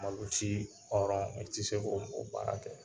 Malosi hɔrɔn i tɛ se k'o baara kɛ